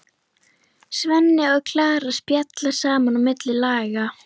Svenni og Klara spjalla saman á milli laga.